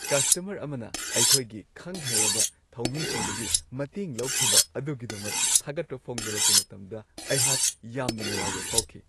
Customer ꯑꯃꯅ ꯑꯩꯈꯣꯏꯒꯤ ꯈꯪ-ꯍꯩꯔꯕ ꯊꯧꯃꯤꯁꯤꯡꯗꯒꯤ ꯃꯇꯦꯡ ꯂꯧꯈꯤꯕ ꯑꯗꯨꯒꯤꯗꯃꯛ ꯊꯥꯒꯠꯄ ꯐꯣꯡꯗꯣꯔꯛꯄ ꯃꯇꯝꯗ ꯑꯩꯍꯥꯛ ꯌꯥꯝꯅ ꯅꯨꯡꯉꯥꯏꯕ ꯐꯥꯎꯈꯤ ꯫